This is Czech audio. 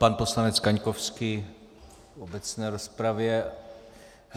Pan poslanec Kaňkovský v obecné rozpravě.